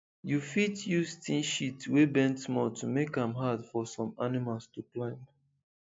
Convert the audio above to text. you fit use tin sheet wey bend small to make am hard for some animals to climb